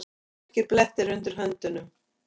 Dökkir blettir undir höndunum.